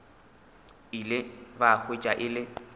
ile ba hwetša e le